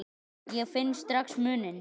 Ég finn strax muninn.